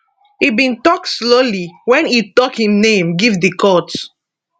e bin tok slowly wen e tok im name give di court